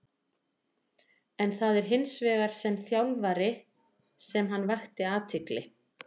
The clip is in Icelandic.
En það var hins vegar sem þjálfari sem hann vakti athygli.